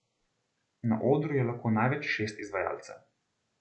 Na odru je lahko največ šest izvajalcev.